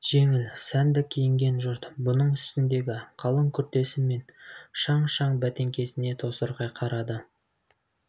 жеңіл сәнді киінген жұрт бұның үстіндегі қалың күртесі мен шаң-шаң бәтеңкесін тосырқай қарайды